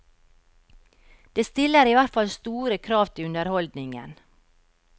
Det stiller i hvert fall store krav til underholdningen.